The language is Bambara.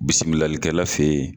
Bisimilalikɛla fe yen